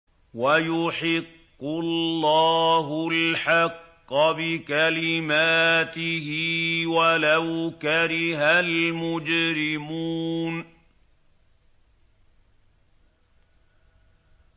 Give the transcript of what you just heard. وَيُحِقُّ اللَّهُ الْحَقَّ بِكَلِمَاتِهِ وَلَوْ كَرِهَ الْمُجْرِمُونَ